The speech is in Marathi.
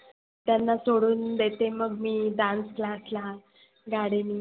त्यांना सोडुन देते मग मी dance class ला गडीनी.